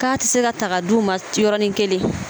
K'a ti se ka ta k'a d'u ma yɔrɔnin kelen.